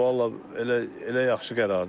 Vallah elə elə yaxşı qərardır.